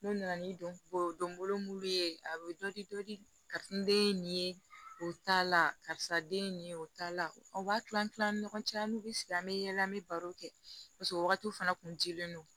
N'u nana ni donbolo mun ye a bɛ dɔ di dɔ di karisa n ye nin ye o t'a la karisa den ye nin ye o t'a la o b'a kilan kilan ni ɲɔgɔn cɛ an'u bɛ sigi an bɛ yaala an bɛ baro kɛ paseke o wagati fana kun dilen don